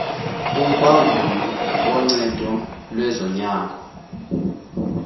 kubaguli boncedo lwezonyango